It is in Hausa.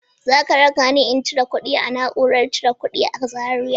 Za k rakani in cire kuɗi a na'urar cire kuɗi a Zariya?